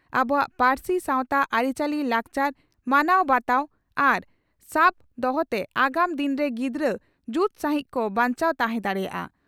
ᱟᱵᱚᱣᱟᱜ ᱯᱟᱨᱥᱤ ᱥᱟᱣᱛᱟ ᱟᱹᱨᱤᱪᱟᱹᱞᱤ ᱞᱟᱠᱪᱟᱨ ᱢᱟᱱᱟᱣ ᱵᱟᱛᱟᱣ ᱟᱨ ᱥᱟᱵ ᱫᱚᱦᱚᱛᱮ ᱟᱜᱟᱢ ᱫᱤᱱ ᱨᱮ ᱜᱤᱫᱽᱨᱟᱹ ᱡᱩᱛ ᱥᱟᱺᱦᱤᱡ ᱠᱚ ᱵᱟᱧᱪᱟᱣ ᱛᱟᱦᱮᱸ ᱫᱟᱲᱮᱭᱟᱜᱼᱟ ᱾